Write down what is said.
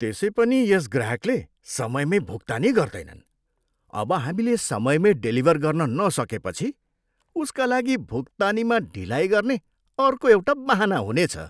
त्यसै पनि यस ग्राहकले समयमै भुक्तानी गर्दैनन्, अब हामीले समयमै डेलिभर गर्न नसकेपछि उसका लागि भुक्तानीमा ढिलाइ गर्ने अर्को एउटा बहाना हुनेछ।